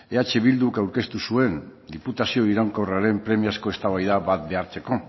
eh bilduk aurkeztu zuen diputazio iraunkorraren premiazko eztabaida bat behartzeko